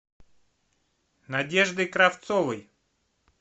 надеждой кравцовой